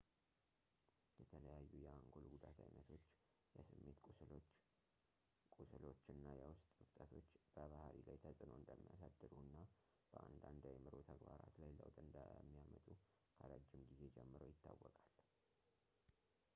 የተለያዩ የአንጎል ጉዳት ዓይነቶች ፣ የስሜት ቁስሎች፣ ቁስሎች እና የውስጥ እብጠቶች በባህሪ ላይ ተጽዕኖ እንደሚያሳድሩ እና በአንዳንድ የአእምሮ ተግባራት ላይ ለውጥ እንደሚያመጡ ከረዥም ጊዜ ጀምሮ ይታወቃል